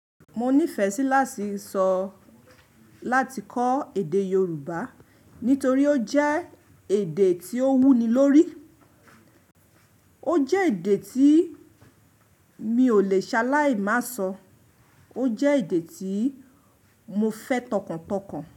Mo nífẹ̀ẹ́ sí láti sọ láti kọ́ èdè Yorùbá nítorí ó jẹ́ èdè tí ó wú ni lórí. Ó jẹ́ èdè tí mi ò lè ṣaláì má sọ. Ó jẹ́ èdè tí mo fẹ́ tọkàntọkàn.